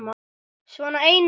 Svona einu sinni.